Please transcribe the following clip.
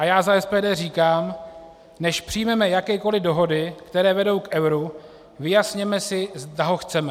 A já za SPD říkám: Než přijmeme jakékoliv dohody, které vedou k euru, vyjasněme si, zda ho chceme.